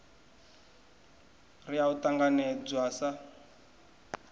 r ya u ṱanganedzwa sa